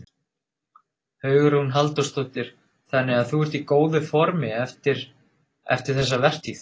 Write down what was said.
Hugrún Halldórsdóttir: Þannig að þú ert í góðu formi eftir, eftir þessa vertíð?